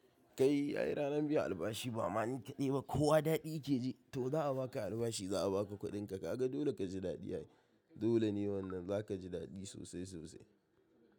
Kai ai ranar biyan albashi ba ma ni ka ɗaiba kowa daɗi yake ji to za a baka albashi za a baka kuɗinka kaga dole ka ji daɗi ai dole ne wannan za ka ji daɗi sosai sosai.